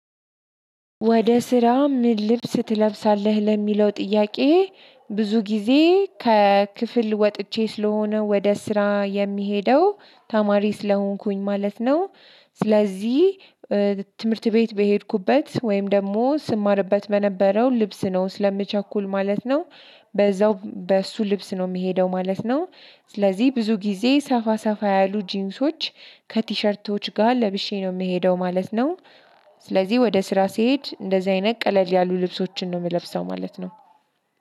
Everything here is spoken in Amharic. ወደ ስራ ምን ልብስ ትለብሳለህ ለሚለው ጥያቄ? ብዙ ጊዜ ከክፍል ወጥቼ ስለሆነ ወደ ስራ የሚሄደው ተማሪ ስለሆንኩኝ ማለት ነው። ስለዚህ ትምህርት ቤት በሄድኩበት ወይም ደግሞ ስማርበት በነበረው ልብስ ነው ስለምቸኩል ማለት ነው። በዛው በእሱ ልብስ ነው የሚሄደው ማለት ነው። ስለዚህ ብዙ ጊዜ ሰፋ ሰፋ ያሉ ጂንሶች ከቲሸርቶች ጋር ለብሼ ነው የምሄደው ማለት ነው። ስለዚህ ወደ ስራ ስሄድ እንደዚህ አይነት ቀለል ያሉ ልብሶችን ነው ምለብሰው ማለት ነው።